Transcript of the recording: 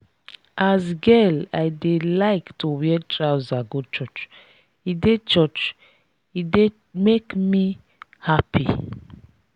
as girl i dey like to wear trouser go church e dey church e dey make me happy.